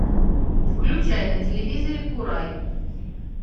включай на телевизоре курай